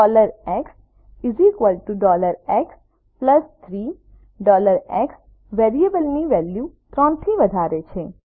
xx3 x વેરિયેબલની value 3 થી વધારે છે